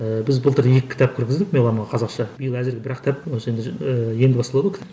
ііі біз былтыр екі кітап кіргіздік меломанға қазақша биыл әзірге бір ақ кітап енді басталады ғой